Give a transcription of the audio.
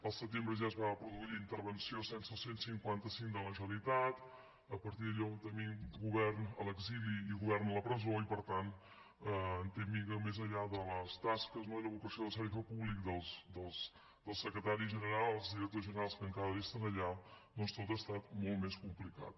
al setembre ja es va produir la intervenció sense cent i cinquanta cinc de la generalitat a partir d’allò tenim govern a l’exili i govern a la presó i per tant més enllà de les tasques i la vocació de servei públic dels secretaris generals i directors generals que encara resten allà doncs tot ha estat molt més complicat